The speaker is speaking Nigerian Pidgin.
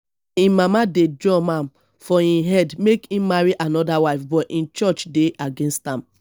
im mama dey drum am for im head make im marry another wife but im church dey against am